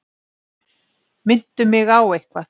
Minntu mig á eitthvað.